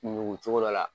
Ɲugucogo dɔ la